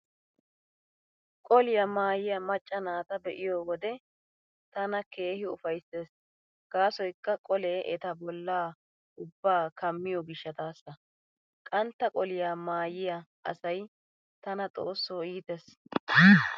Qoliyaa maayiyaa macca naata be'iyo wode tana keehi ufayssees gaasoykka qolee eta bollaa ubbaa kammiyoo gishshataassa. Qantta qoliyaa maayiya asay tana xoosso iitees.